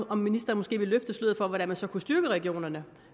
om ministeren måske ville løfte sløret for hvordan vi så kunne styrke regionerne